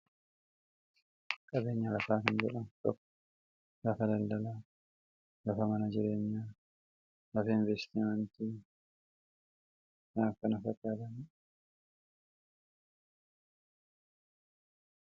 Qabeenyi lafaa faayidaa madaalamuu hin dandeenye fi bakka bu’iinsa hin qabne qaba. Jireenya guyyaa guyyaa keessatti ta’ee, karoora yeroo dheeraa milkeessuu keessatti gahee olaanaa taphata. Faayidaan isaa kallattii tokko qofaan osoo hin taane, karaalee garaa garaatiin ibsamuu danda'a.